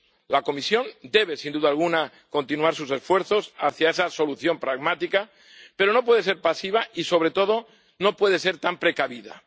La Comisión debe, sin duda alguna, continuar sus esfuerzos hacia esa solución pragmática, pero no puede ser pasiva y, sobre todo, no puede ser tan precavida.